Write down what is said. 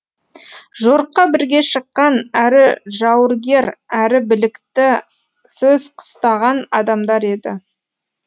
жорыққа бірге шыққан әрі жауыргер әрі білікті сөз қыстаған адамдар еді